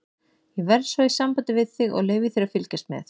Ég verð svo í sambandi við þig og leyfi þér að fylgjast með.